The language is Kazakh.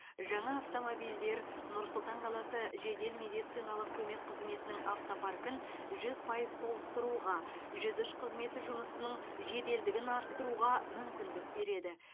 жаңа автомобильдер нұр сұлтан қаласы жедел медициналық көмек қызметінің автопаркін жүз пайыз толықтыруға жүз үш қызметі жұмысының жеделдігін арттыруға мүмкіндік береді